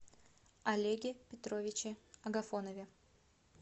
олеге петровиче агафонове